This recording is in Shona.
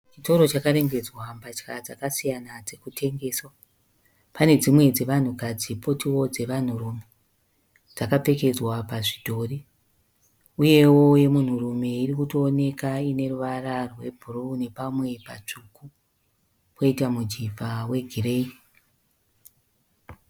Chitoro chakarembedzwa mbatya dzakasiyana dzirikutengeswa. Pane dzimwe dzevanhukadzi potiwo dzevanhururume dzakapfekedzwa pazvidhori. Uyewo yemunhurume irikutooneka iine ruvara rwebhuruu nepamwe patsvuku, poita mujivha wegireyi.